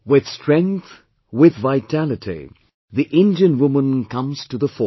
With Strength, with Vitality, the Indian woman comes to the fore